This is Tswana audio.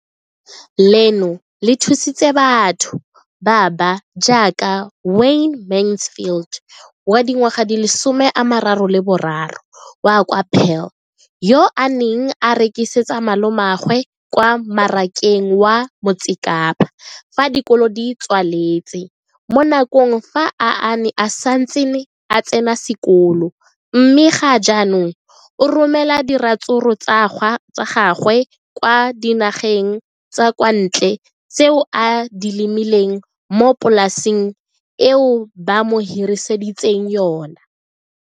leno le thusitse batho ba ba jaaka Wayne Mansfield, 33, wa kwa Paarl, yo a neng a rekisetsa malomagwe kwa Marakeng wa Motsekapa fa dikolo di tswaletse, mo nakong ya fa a ne a santse a tsena sekolo, mme ga jaanong o romela diratsuru tsa gagwe kwa dinageng tsa kwa ntle tseo a di lemileng mo polaseng eo ba mo hiriseditseng yona.